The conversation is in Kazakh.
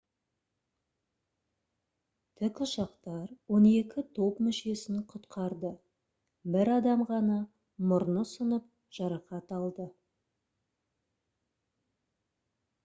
тік ұшақтар он екі топ мүшесін құтқарды бір адам ғана мұрны сынып жарақат алды